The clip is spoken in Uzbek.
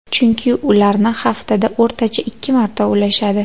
Chunki ularni haftada o‘rtacha ikki marta ushlashadi.